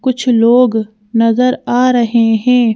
कुछ लोग नजर आ रहे हैं।